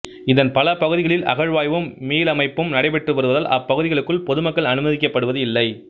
இதன் பல பகுதிகளில் அகழ்வாய்வும் மீளமைப்பும் நடைபெற்று வருவதால் அப்பகுதிகளுக்குள் பொதுமக்கள் அனுமதிக்கப்படுவது இல்லை